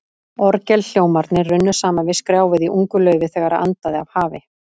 Orgelhljómarnir runnu saman við skrjáfið í ungu laufi, þegar andaði af hafi.